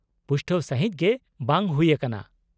-ᱯᱩᱥᱴᱟᱹᱣ ᱥᱟᱹᱦᱤᱫ ᱜᱮ ᱵᱟᱝ ᱦᱩᱭᱟᱠᱟᱱᱟ ᱾